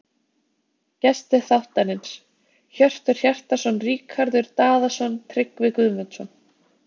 Gestir þáttarins: Hjörtur Hjartarson Ríkharður Daðason Tryggvi Guðmundsson